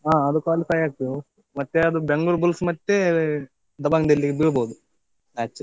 ಹಾ, ಅದು qualify ಆಯ್ತು, ಮತ್ತೆ ಅದು Bengaluru Bulls ಮತ್ತೆ Dabang Delhi ದು ಇರ್ಬೋದು match.